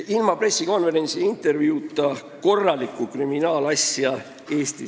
Ilma pressikonverentsi ja intervjuuta Eestis korralikku kriminaalasja ei ole.